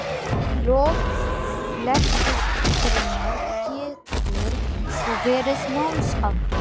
Í lok flettugreinar getur svo verið málsháttur